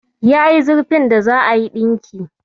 Yayi zurfin da za'a yi ɗinki.